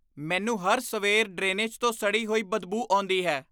ਮੈਨੂੰ ਹਰ ਸਵੇਰ ਡਰੇਨੇਜ ਤੋਂ ਸੜੀ ਹੋਈ ਬਦਬੂ ਆਉਂਦੀ ਹੈ।